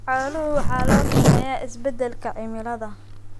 Xoolaha waxaa saameeya isbeddelka cimilada.